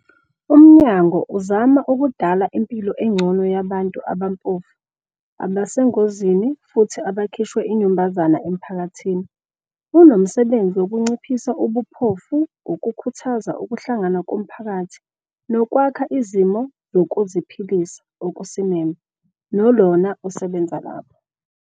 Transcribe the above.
UMnyango "uzama ukudala impilo engcono yabantu abampofu, abasengozini futhi abakhishwe inyumbazana emphakathini". Unomsebenzi wokunciphisa ubuphofu, ukukhuthaza ukuhlangana komphakathi, nokwakha izimo zokuziphilisa okusimeme. NoLorna usebenza lapho.